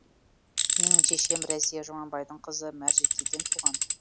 менің шешем рәзия жұмабайдың қызы мәржікейден туған